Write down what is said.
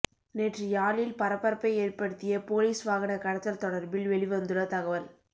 நேற்று யாழில் பரபரப்பை ஏற்படுத்திய பொலிஸ் வாகன கடத்தல் தொடர்பில் வெளிவந்துள்ள தகவல்